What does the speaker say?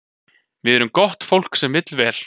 Við erum gott fólk sem vill vel.